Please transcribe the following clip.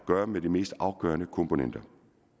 gøre med de mest afgørende komponenter